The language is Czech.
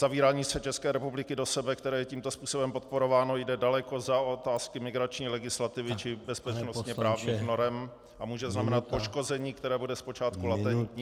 Zavírání se České republiky do sebe, které je tímto způsobem podporováno, jde daleko za otázky migrační legislativy či bezpečnostně-právních norem a může znamenat poškození, které bude zpočátku latentní -